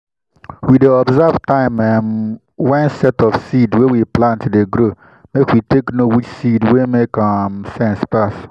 we dey observe time um when set of seed wey we plant dey grow make we take know which seed wey make um sense pass.